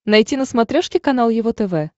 найти на смотрешке канал его тв